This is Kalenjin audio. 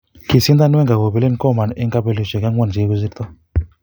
kisindan Wenger kopelen Koeman en kapelisiosiek angwan chegigosirta